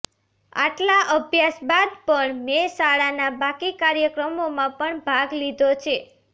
આટલા અભ્યાસ બાદ પણ મેં શાળાના બાકી કાર્યક્રમોમાં પણ ભાગ લીધો છે